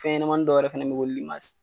Fɛnɲamani dɔ wɛrɛ fana be yen ko